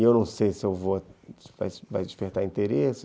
E eu não sei se vou, se vai despertar interesse.